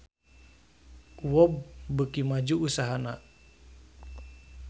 UOB beuki maju usahana